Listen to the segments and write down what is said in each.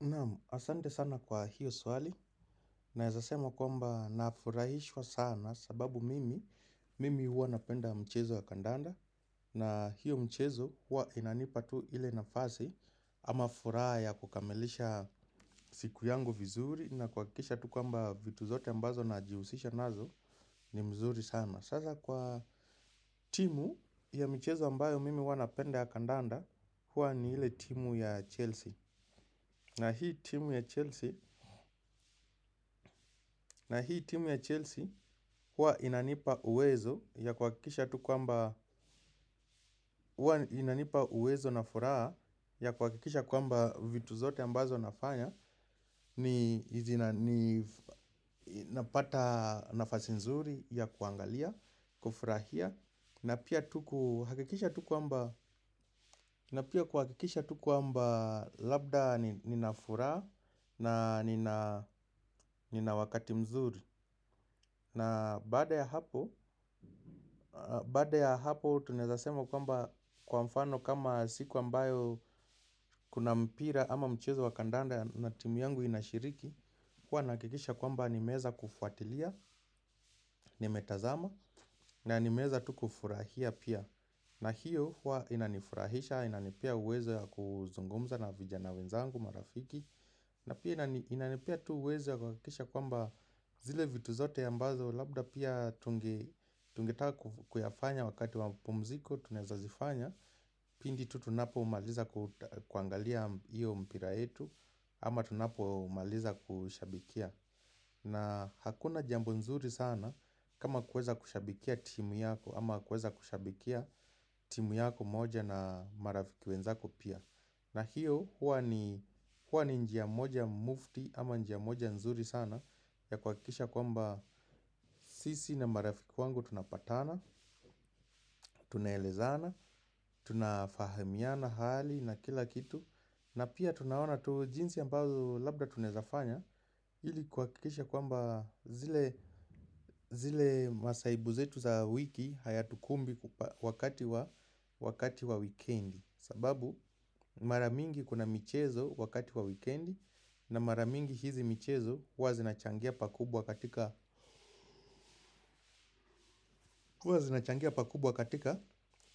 Naam, asante sana kwa hiyo swali naeza sema kwamba nafurahishwa sana sababu mimi, mimi huwa napenda mchezo ya kandanda na hiyo mchezo huwa inanipa tu ile nafasi ama furaha ya kukamilisha siku yangu vizuri na kuhakikisha tu kwamba vitu zote ambazo najihusisha nazo ni mzuri sana. Sasa kwa timu ya michezo ambayo mimi huwa napenda ya kandanda. Huwa ni ile timu ya Chelsea. Na hii timu ya Chelsea huwa inanipa uwezo na furaha ya kuhakikisha kwamba vitu zote ambazo nafanya. Ninapata nafasi nzuri ya kuangalia, kufurahia. Na pia kuhakikisha tu kwamba labda nina furaha na nina wakati mzuri. Na baada ya hapo, baada ya hapo tunaeza sema kwamba kwa mfano kama siku ambayo kuna mpira ama mchezo wa kandanda na timu yangu inashiriki, huwa nahakikisha kwamba nimeweza kufuatilia nimetazama na nimeeza tu kufurahia pia. Na hiyo huwa inanifurahisha, inanipea uwezo ya kuzungumza na vijana wenzangu marafiki. Na pia inanipea tu uwezo ya kuhahakikisha kwamba zile vitu zote ambazo labda pia. Tungetaka kuyafanya wakati wa mapumziko tunaweza zifanya. Pindi tu tunapo umaliza kuangalia iyo mpira etu ama tunapo umaliza kushabikia. Na hakuna jambo nzuri sana kama kweza kushabikia timu yako ama kweza kushabikia timu yako moja na marafiki wenzako pia. Na hiyo huwa ni njia moja mufti ama njia moja nzuri sana ya kwakisha kwamba sisi na marafiki wangu tunapatana, tunaelezana tunafahamiana hali na kila kitu na pia tunaona tu jinsi ambazo labda tunaeza fanya ili kuhakikisha kwamba zile masaibu zetu za wiki haya tukumbi wakati wa wakati wa wikendi. Sababu maramingi kuna michezo wakati wa wikendi. Na maramingi hizi michezo huwa zinachangia pakubwa katika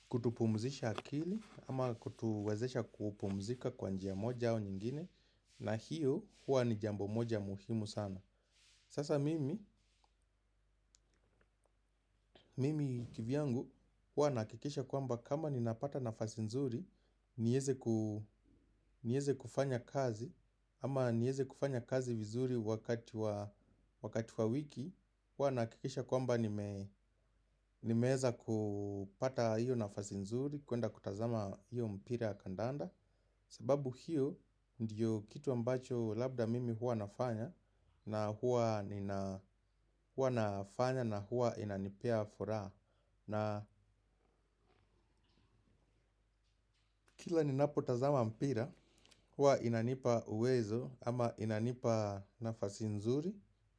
kutupumzisha akili ama kutuwaeesha kupumzika kwanjia moja au nyingine. Na hiyo hua ni jambo moja muhimu sana. Sasa mimi kivyangu hua nakikisha kwamba kama ninapata nafasi nzuri. Nieze kufanya kazi ama nieze kufanya kazi vizuri wakati wa wiki. Hua nakikisha kwamba nimeza kupata hiyo nafasi nzuri. Kuenda kutazama hiyo mpira kandanda. Sababu hiyo ndiyo kitu ambacho labda mimi hua nafanya. Na huwa nafanya na huwa inanipea fura. Na kila ninapotaza mpira huwa inanipa uwezo ama inanipa nafasi nzuri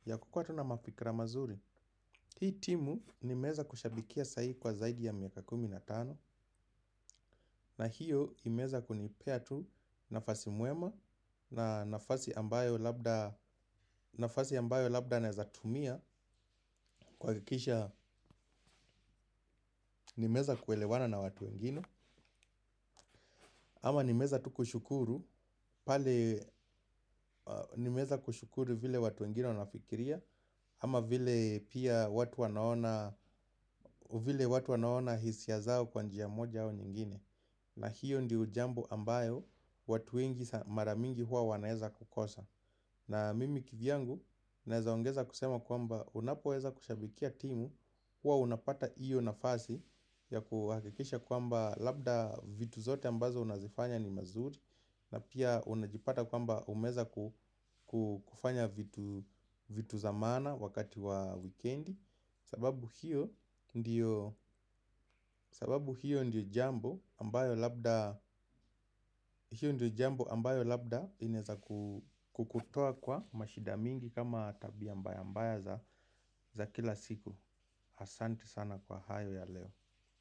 ya kukwa tu na mafikra mazuri. Hii timu nimeza kushabikia sai kwa zaidi ya miaka kumi na tano. Na hiyo imeza kunipea tu nafasi muema. Na nafasi ambayo labda naezatumia kw kikisha nimeza kuelewana na watu wengine. Ama nimeza tukushukuru, pale nimeza kushukuru vile watu wengine wanafikiria kama vile pia watu wanaona hisia zao kwa njia moja ama nyingine. Na hiyo ndi jambo ambayo watu wengi maramingi huwa wanaeza kukosa. Na mimi kivyangu, naeza ongeza kusema kwamba unapoweza kushabikia timu huwa unapata iyo nafasi ya kuhakikisha kwamba labda vitu zote ambazo unazifanya ni mazuri. Na pia unajipata kwamba umeza kufanya vitu zamana wakati wa weekendi. Sababu hiyo ndiyo jambo ambayo labda ineza kukutoa kwa mashida mingi kama tabia mbaya mbaya za kila siku. Hasanti sana kwa hayo ya leo.